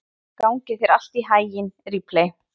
Gangi þér allt í haginn, Ripley.